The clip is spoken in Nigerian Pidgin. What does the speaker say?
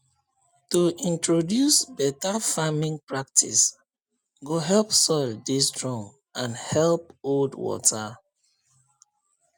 to introduce better farming practice go help soil dey strong and help hold water